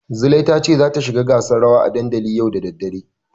Zulai tace zata shiga gasar rawa a dandali yau da daddare.